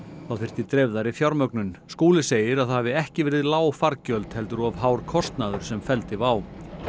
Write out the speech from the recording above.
þyrfti dreifðari fjármögnun Skúli segir að það hafi ekki verið lág fargjöld heldur of hár kostnaður sem felldi WOW